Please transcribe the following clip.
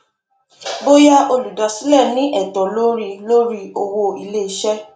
bóyá olùdásílẹ ní ẹtọ lórí lórí owó iléiṣẹ